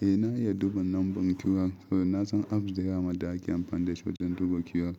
Eh na iya duba nambar QR. Na san apps da ya ma da ake amfani da su wajen duba QR.